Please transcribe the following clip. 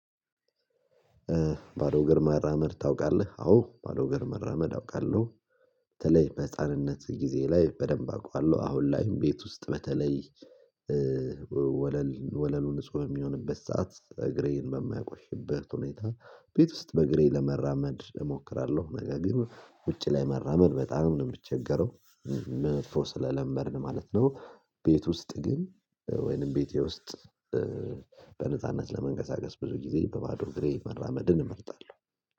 ባዶ እግር ራመድ ታውቃለህ አዎ ባዶ እግር ራመድ አውቃለሁ። በተለይ በህፃንነት ጊዜ ላይ በደንብ አውቃለሁ አሁን ላይም ቤት ውስጥ በተለይ ወለል ወለሉ ንጹህ የሚሆንበት ሰዓት እግሬን በማያቆሽበት ሁኔታ። ቤት ውስጥ በእግሬ ለመራመድ እሞክራለሁ ነገ ግን ውጪ ላይ መራመድ በጣም ነው የምቸገረው። መጥፎ ስለለመድን ማለት ነው። ቤት ውስጥ ግን ወይንም ቤቴ ውስጥ በነጻነት ለመንገሳገስ ብዙ ጊዜ በባዶ ግሬ መራመድን እመርጣለሁ።